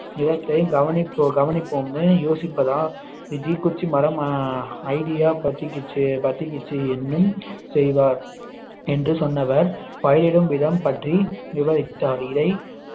நிலத்தை கவனிப்போ~ கவனிப்போம்னு யோசித்ததால் இத்தீக்குச்சி மரம் idea பத்திக்கிச்சு பத்திக்கிச்சு என்னும் செய்வார் என்று சொன்னவர் பயிரிடும் விதம் பற்றி விவரித்தார் இதை